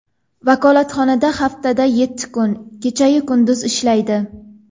Vakolatxona haftada yetti kun, kecha-yu kunduz ishlaydi.